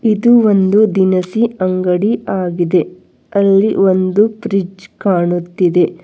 ಇದು ಒಂದು ದಿನಸಿ ಅಂಗಡಿ ಆಗಿದೆ ಅಲ್ಲಿ ಒಂದು ಫ್ರಿಜ್ ಕಾಣುತ್ತಿದೆ.